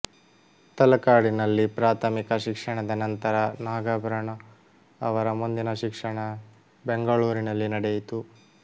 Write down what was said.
ತಲಕಾಡಿನಲ್ಲಿ ಪ್ರಾಥಮಿಕ ಶಿಕ್ಷಣದ ನಂತರ ನಾಗಾಭರಣ ಅವರ ಮುಂದಿನ ಶಿಕ್ಷಣ ಬೆಂಗಳೂರಿನಲ್ಲಿ ನಡೆಯಿತು